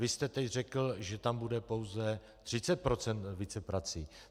Vy jste teď řekl, že tam bude pouze 30 % víceprací.